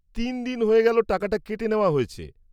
তিন দিন হয়ে গেল টাকাটা কেটে নেওয়া হয়েছে।